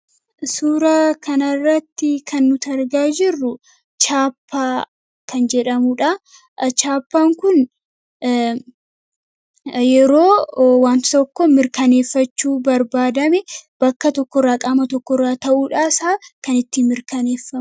Suuraa kanarratti kan nuti argaa jirru 'Chaappaa' kan jedhamudha. Chaappaan kun yeroo wanta tokko mirkaneeffachuu barbaadame bakka tokkorraa qaama tokkorraa ta'uu isaa kan ittiin mirkaneeffamu.